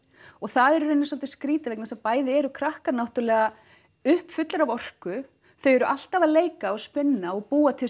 og það er í raun svolítið skrítið vegna þess að bæði eru krakkar náttúrulega uppfullir af orku þau eru alltaf að leika og spinna og búa til